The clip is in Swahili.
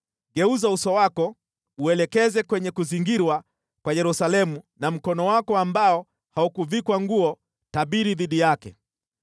Geuza uso wako uelekeze kwenye kuzingirwa kwa Yerusalemu na mkono wako ambao haukuvikwa nguo tabiri dhidi yake.